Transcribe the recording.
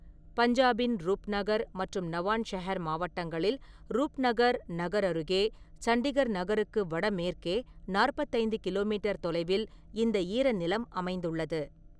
பஞ்சாபின் ரூப்நகர் மற்றும் நவான்ஷஹர் மாவட்டங்களில் ரூப்நகர் நகர் அருகே, சண்டிகர் நகருக்கு வடமேற்கே நாற்பத்தி ஐந்து கிலோ மீட்டர் தொலைவில் இந்த ஈரநிலம் அமைந்துள்ளது.